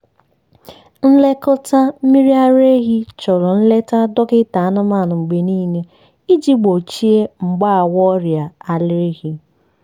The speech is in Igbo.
nlekọta ehi mmiri ara chọrọ nleta dọkịta anụmanụ mgbe niile iji gbochie mgbawa ọrịa ara ehi.